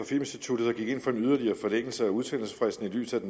filminstituttet der gik ind for en yderligere forlængelse af udsendelsesfristen i lyset